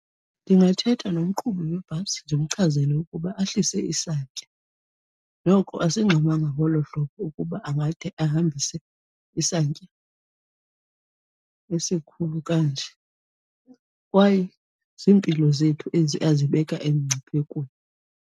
Ndingathetha nomqhubi webhasi ndimchazele ukuba ahlise isantya noko asingxamanga ngolo hlobo ukuba angade ahambise isantya esikhulu kanje kwaye ziimpilo zethu ezi azibeka emngciphekweni.